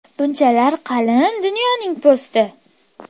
Bunchalar qalin Dunyoning po‘sti.